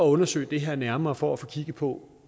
undersøge det her nærmere for at få kigget på